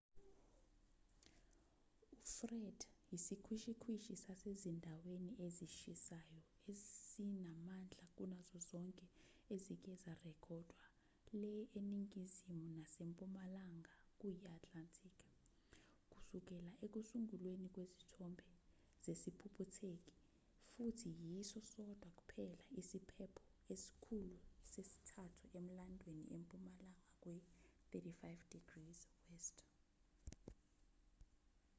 ufred isikhwishikhwishi sasezindaweni ezishisayo esinamandla kunazo zonke ezike zarekhodwa le eningizimu nasempumalanga kuyi-atlantic kusukela ekusungulweni kwezithombe zesiphuphutheki futhi yiso sodwa kuphela isiphepho esikhulu sesithathu emlandweni empumalanga kwe-35°w